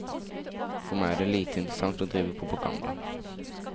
For meg er det lite interessant å drive propaganda.